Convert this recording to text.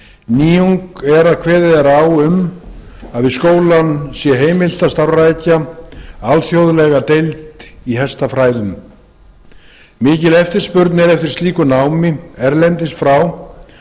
nýjung er að kveðið er á um að við skólann sé heimilt að starfrækja alþjóðlega deild í hestafræðum mikil eftirspurn er eftir slíku námi erlendis frá